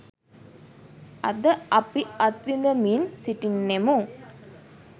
අද අපි අත්විඳිමින් සිටින්නෙමු.